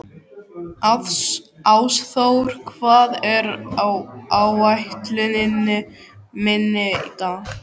Ásþór, hvað er á áætluninni minni í dag?